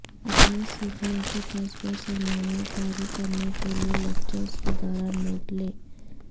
اپنے سیکھنے کے طرز پر سرمایہ کاری کرنے کے لئے لیکچرز کے دوران نوٹ لیں